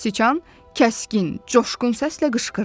Siçan kəskin, coşqun səslə qışqırdı.